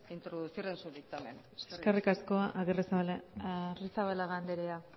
introducir en su dictamen eskerrik asko arrizabalaga andrea